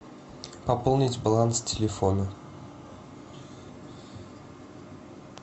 пополнить баланс телефона